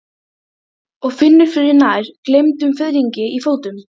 Hella, pantaðu tíma í klippingu á fimmtudaginn.